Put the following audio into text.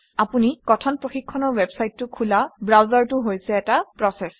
আপুনি কথন প্ৰশিক্ষণৰ ৱেবচাইটটো খোলা ব্ৰাউজাৰটো হৈছে এটা প্ৰচেচ